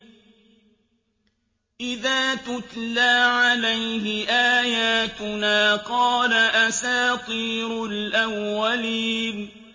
إِذَا تُتْلَىٰ عَلَيْهِ آيَاتُنَا قَالَ أَسَاطِيرُ الْأَوَّلِينَ